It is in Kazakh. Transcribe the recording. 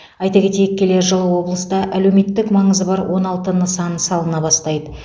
айта кетейік келер жылы облыста әлеуметтік маңызы бар он алты нысан салына бастайды